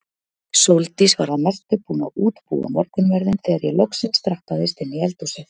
Sóldís var að mestu búin að útbúa morgunverðinn þegar ég loksins drattaðist inn í eldhúsið.